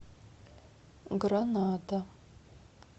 гранада